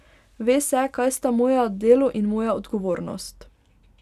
Ve se, kaj sta moje delo in moja odgovornost.